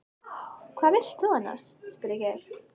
Hvað vildir þú annars? spurði Geir.